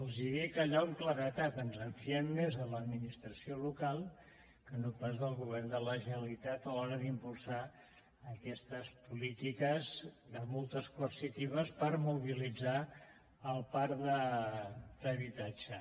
els ho dic allò amb claredat ens en fiem més de l’administració local que no pas del govern de la generalitat a l’hora d’impulsar aquestes polítiques de multes coercitives per mobilitzar el parc d’habitatge